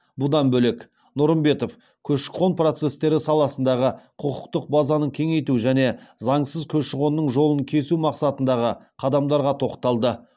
бұдан бөлек нұрымбетов көші қон процестері саласындағы құқықтық базаны кеңейту және заңсыз көші қонның жолын кесу мақсатындағы қадамдарға тоқталды